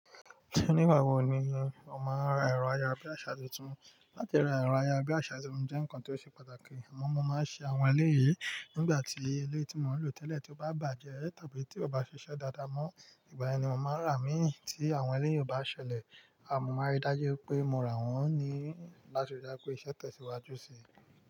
Nígbà wo ni o máa ń ra ẹ̀rọ aya bí àsá tuntun? Látí ra ẹ̀rọ aya bí àsá tuntun jẹ́ ǹkan tó ṣe pàtàkì. Àmọ́ mo máa ń ṣe àwọn eléyìí nígbà tí eléyìí tí mò ń lò tẹ́lẹ̀ tí ó bá bàjẹ́ tàbí tí ó bá ṣiṣẹ́ dáadáa mọ́. Ìgbà yẹn ni mo máa ń rà á mí tí àwọn eléyìí ò bá ṣẹlẹ̀. Àmọ́ a máa rí dájú pé mo rà wọ́n ní láti rí dájú pé iṣẹ́ tẹ̀síwájú sí i.